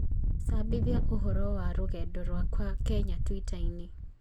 cabithia ũhoro wa rũgendo rwakwa Kenya twitter-inĩ